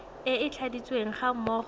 e e tladitsweng ga mmogo